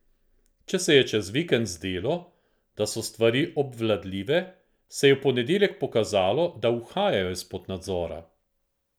Če se je čez vikend zdelo, da so stvari obvladljive, se je v ponedeljek pokazalo, da uhajajo izpod nadzora.